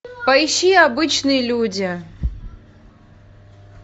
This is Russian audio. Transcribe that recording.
поищи обычные люди